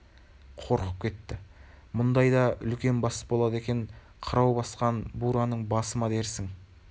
қорқып кетті мұндай да үлкен бас болады екен - қырау басқан бураның басы ма дерсің